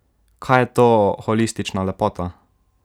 Kaj je to holistična lepota?